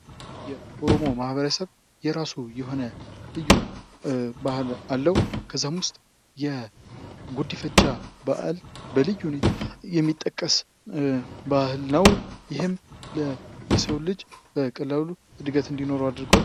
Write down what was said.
የኦሮሞ ማኅበረሰብ የራሱ የሆነ ልዩ በአል አለው ። ከዛም ውስጥ የጉድፍቻ በአል በልዩ ሁኔታ የሚጠቀስ በአል ነው ። ይህም የሰው ልጅ በቀላሉ እድገት እንዲኖረው አድርጓል ።